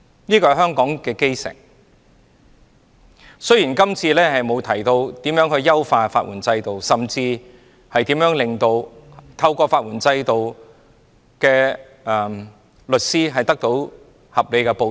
法援是香港的基石，雖然今次的決議案沒有提到如何優化法援制度，甚至如何令在法援制度下工作的律師得到合理的報酬。